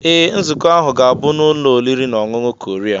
Ee! Nzukọ ahụ ga-abụ n'ụlọ oriri na ọṅụṅụ Korea.